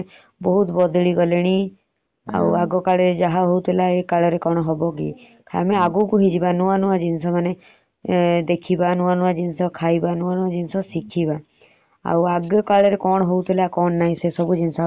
ଖାଲି ଆମେ ଭାବିବା ଏମତି କରୁଥିଲେ ଏବେର ପିଲା ମାନେ ବହୁତ ବଦଳି ଗଲେଣି ଆଉ ଆଗକାଳରେ ଯାହା ହାଉଥିଲା ଏ କାଳରେ କଣ ହେବ କି? ଆମେ ଆଗକୁ ନୂଆ ନୂଆ ଜିନିଷ ଦେଖିବା ନୂଆ ନୂଆ ଜିନିଷ ଖାଇବା ନୂଆ ନୂଆ ଜିନିଷ ଶିଖିବା। ଆଉ ଆଗ କାଳରେ କଣ ହାଉଥିଲା ସେ ସବୁ ଜିନିଷ ଆଉ କରିବାନି।